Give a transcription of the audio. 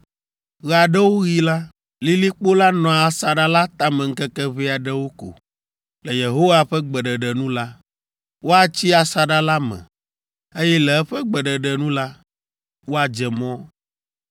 Ɣe aɖewo ɣi la, lilikpo la nɔa asaɖa la tame ŋkeke ʋɛ aɖewo ko; le Yehowa ƒe gbeɖeɖe nu la, woatsi asaɖa la me, eye le eƒe gbeɖeɖe nu la, woadze mɔ.